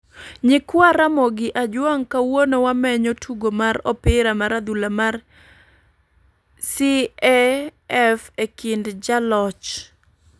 Nyikwa Ramogi Ajwang kawuono wamenyo tugo mar opira mar adhula mar CAF e kind joloch